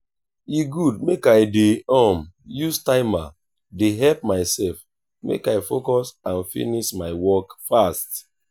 e good make i dey um use timer dey help myself make i focus and finish my work fast.